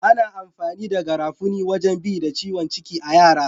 Ana amfani da garafuni wajen bi da ciwon ciki a'yara.